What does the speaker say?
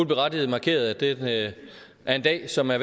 berettiget markerede at det er en dag som er